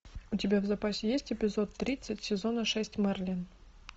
у тебя в запасе есть эпизод тридцать сезона шесть мерлин